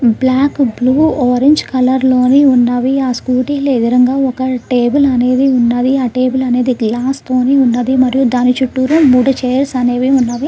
Black blue orange colour లోనే ఉన్నవి ఆ స్కూటీలు ఎదురుగా ఒక టేబుల్ అనేది ఉన్నది ఆ టేబుల్ అనేది గ్లాస్ తోనే ఉన్నది దాని చుట్టూ మూడు చైర్స్ అనేవి ఉన్నవి.